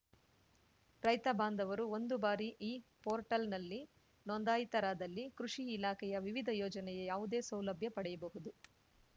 ರೈತ ಬಾಂಧವರು ಒಂದು ಬಾರಿ ಈ ಪೋರ್ಟಲ್‌ನಲ್ಲಿ ನೊಂದಾಯಿತರಾದಲ್ಲಿ ಕೃಷಿ ಇಲಾಖೆಯ ವಿವಿಧ ಯೋಜನೆಯ ಯಾವುದೇ ಸೌಲಭ್ಯ ಪಡೆಯಬಹುದು